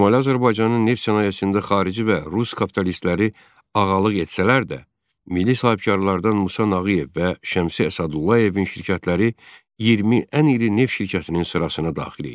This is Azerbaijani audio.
Şimali Azərbaycanın neft sənayesində xarici və rus kapitalistləri ağalıq etsələr də, milli sahibkarlardan Musa Nağıyev və Şəmsi Əsədullayevin şirkətləri 20 ən iri neft şirkətinin sırasına daxil idi.